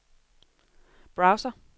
browser